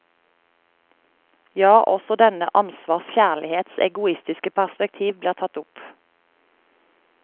Ja, også denne ansvars kjærlighets egoistiske perspektiv blir tatt opp.